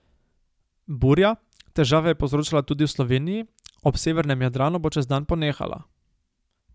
Burja, težave je povzročala tudi v Sloveniji, ob severnem Jadranu bo čez dan ponehala.